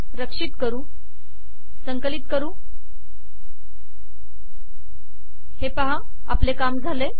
रक्षित करू आणि आपले काम झाले